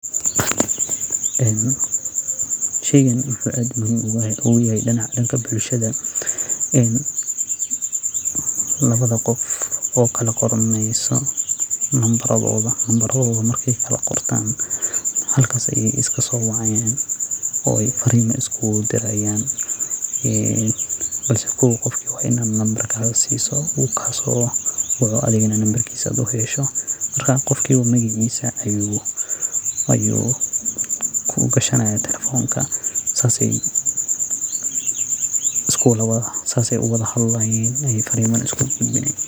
Sheygan wuxu aad muhiim oguyahay danka bulshada ee lawa qof ee kalaqorto numbaroda halkas ayey iskasowacayan oo ey farimo iskugudirayan bakse qof kale wa in ad nambarkaga siso oo uu telefonka gashado marka sidas ayey iskusowacayan.